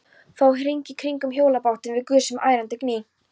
Fór hring í kringum hjólabátinn með gusum og ærandi gný.